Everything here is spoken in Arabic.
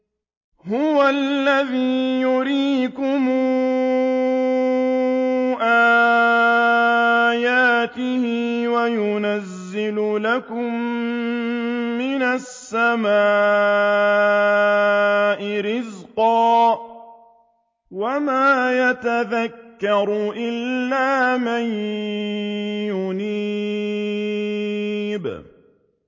هُوَ الَّذِي يُرِيكُمْ آيَاتِهِ وَيُنَزِّلُ لَكُم مِّنَ السَّمَاءِ رِزْقًا ۚ وَمَا يَتَذَكَّرُ إِلَّا مَن يُنِيبُ